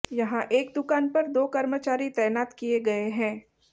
यहां एक दुकान पर दो कर्मचारी तैनात किए गए हैं